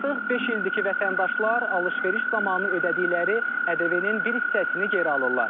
Artıq beş ildir ki, vətəndaşlar alış-veriş zamanı ödədikləri ƏDV-nin bir hissəsini geri alırlar.